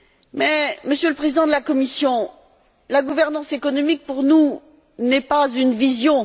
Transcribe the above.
Mais, Monsieur le Président de la Commission, la gouvernance économique pour nous n'est pas une vision.